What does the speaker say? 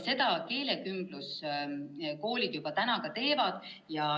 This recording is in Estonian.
Seda keelekümbluskoolid juba teevad.